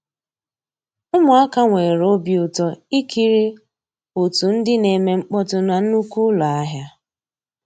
Ụmụ́àká nwèré òbí ụtọ́ ìkírí ótú ndị́ ná-èmè mkpọ́tụ́ ná nnùkwú ụ́lọ́ àhịá.